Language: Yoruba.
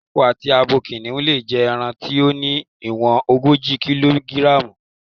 Akọ àti abo kìnìhún lè jẹ ẹran tí ó ní ìwọ̀n ogójì kílógíráàmù.